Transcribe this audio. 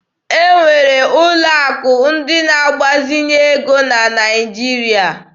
E nwere ụlọ akụ ndị na agbazinye ego na Naịjirịa.